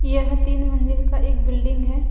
यह तीन मंजिल का एक बिल्डिंग है।